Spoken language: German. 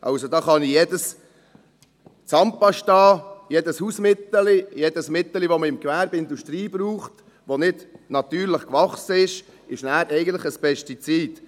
Da ist also jede Zahnpasta, jedes Hausmittelchen, jedes Mittelchen, das man im Gewerbe oder in der Industrie braucht, das nicht natürlich gewachsen ist, nachher eigentlich ein Pestizid.